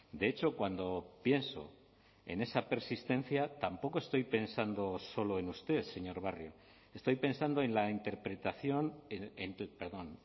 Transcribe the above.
de hecho cuando pienso en esa persistencia tampoco estoy pensando solo en usted señor barrio estoy pensando en la interpretación perdón